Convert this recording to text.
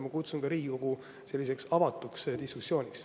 Ma kutsun ka Riigikogu üles sellisele avatud diskussioonile.